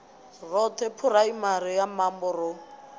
roṱhe phuraimari ya mambo ro